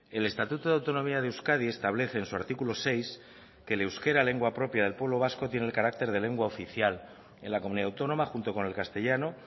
el estatuto de autonomía de euskadi establece en su artículo seis que el euskera lengua propia del pueblo vasco tiene el carácter de lengua oficial en la comunidad autónoma junto con el castellano